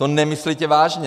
To nemyslíte vážně!